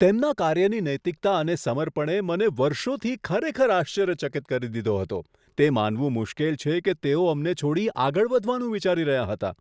તેમના કાર્યની નૈતિકતા અને સમર્પણએ મને વર્ષોથી ખરેખર આશ્ચર્યચકિત કરી દીધો હતો, તે માનવું મુશ્કેલ છે કે તેઓ અમને છોડી આગળ વધવાનું વિચારી રહ્યાં હતાં.